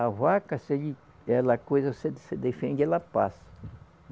A vaca, se ele, ela coisa, você defende, ela passa.